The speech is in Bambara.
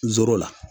N zoro la